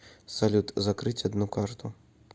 салют закрыть одну карту